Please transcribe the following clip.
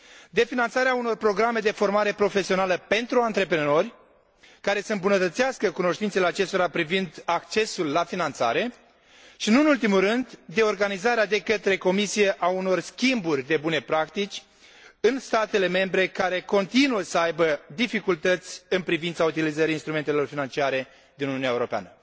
de finanțarea unor programe de formare profesională pentru antreprenori, care să îmbunătățească cunoștințele acestora privind accesul la finanțare, și, nu în ultimul rând, de organizarea de către Comisie a unor schimburi de bune practici în statele membre care continuă să aibă dificultăți în privința utilizării instrumentelor financiare din Uniunea Europeană.